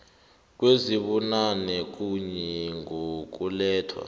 kwezibunane kuye ngokulethwa